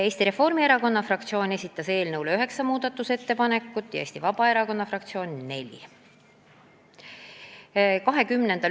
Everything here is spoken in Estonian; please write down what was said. Eesti Reformierakonna fraktsioon esitas eelnõu muutmiseks üheksa muudatusettepanekut, Eesti Vabaerakonna fraktsioon neli.